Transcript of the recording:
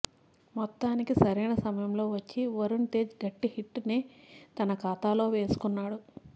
మొత్తానికి సరైన సమయంలో వచ్చి వరుణ్ తేజ్ గట్టి హిట్ నే తన ఖాతాలో వేసుకున్నాడు